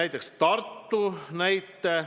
Toon ka Tartu näite.